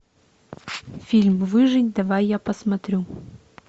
фильм выжить давай я посмотрю